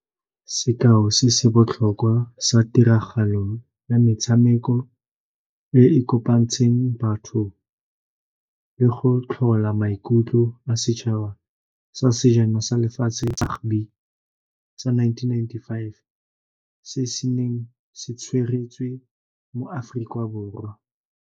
Sekao se se botlhokwa sa tiragalo ya metshameko e e kopantsweng batho le go tlhola maikutlo setšhaba sa sejana sa lefatshe sa nineteen ninety-five se se neng se tshwaretswe mo Aforika Borwa.